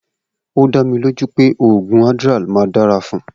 O da mí ló jú pẹ oògùn Adderall ma dára fún gan